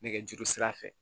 Nɛgɛjuru sira fɛ